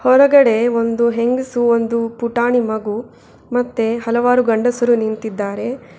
ಹೊರಗಡೆ ಒಂದು ಹೆಂಗಸು ಒಂದು ಪುಟಾಣಿ ಮಗು ಮತ್ತೆ ಹಲವಾರು ಗಂಡಸರು ನಿಂತಿದ್ದಾರೆ.